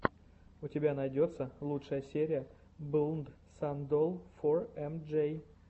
у тебя найдется лучшая серия блнд сан долл фор эм джей